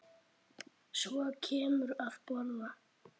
Og svo kemurðu að borða!